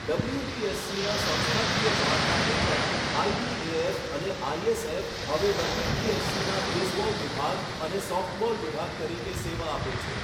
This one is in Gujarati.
ડબલ્યુબીએસસીના સંસ્થાકીય માળખા હેઠળ, આઇબીએએફ અને આઇએસએફ હવે ડબલ્યુબીએસસીના બેઝબોલ વિભાગ અને સોફ્ટબોલ વિભાગ તરીકે સેવા આપે છે.